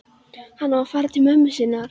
Hann á að fara til mömmu sinnar.